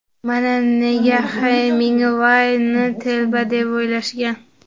Mana nega Hemingway ni telba deb o‘ylashgan.